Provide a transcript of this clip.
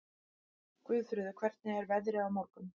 Guðfreður, hvernig er veðrið á morgun?